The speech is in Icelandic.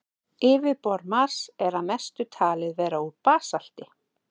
Yfirborð Mars er að mestu talið vera úr basalti.